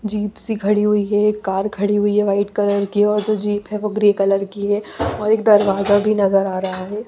Jeep सी खड़ी हुई है एक कार खड़ी हुई है व्हाइट कलर की है और जो जीप है वो ग्रे कलर की है और एक दरवाजा भी नजर आ रहा है।